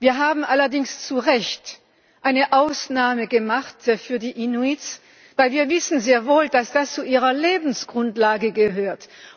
Wir haben allerdings zu Recht eine Ausnahme gemacht für die Inuit, weil wir sehr wohl wissen, dass das zu ihrer Lebensgrundlage gehört.